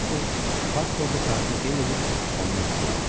Konsul pasporta tarixi qeyd edib onu möhürlədi.